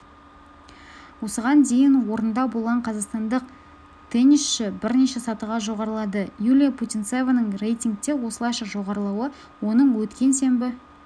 осыған дейін орында болған қазақстандық теннисші бірден сатыға жоғарылады юлия путинцеваның рейтингте осылайша жоғарылауынаоның өткен сенбі